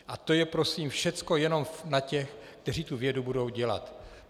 A to je prosím všecko jenom na těch, kteří tu vědu budou dělat.